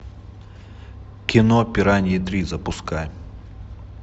кино пираньи три запускай